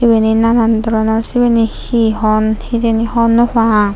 iyani nanan doronor sibeni he hon hijeni hor naw pang.